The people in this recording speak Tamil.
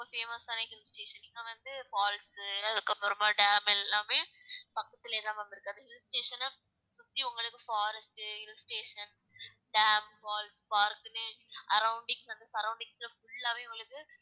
ரொம்ப famous ஆன hill station இங்க வந்து falls உ அதுக்கப்புறமா dam எல்லாமே பக்கத்திலேயே தான் ma'am இருக்கு அந்த hill station அ சுத்தி உங்களுக்கு forest உ hill station, dam, falls, park ன்னு arroundings வந்து surroundings ல full ஆவே உங்களுக்கு